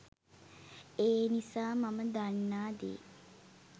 ඒ නිසා මම දන්නා දේ